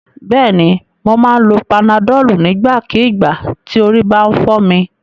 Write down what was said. Bẹ́ẹ̀ni, mo máa ń lo panadọ́ọ̀lù nígbàkígbà tí orí bá ti ń fọ́ mi.